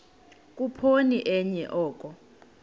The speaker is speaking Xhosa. khuphoni enye oko